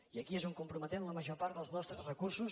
i aquí és on comprometem la major part dels nostres recursos